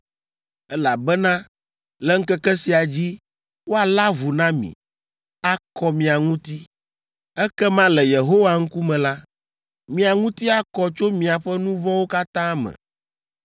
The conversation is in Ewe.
elabena le ŋkeke sia dzi woalé avu na mi, akɔ mia ŋuti. Ekema le Yehowa ŋkume la, mia ŋuti akɔ tso miaƒe nu vɔ̃wo katã me.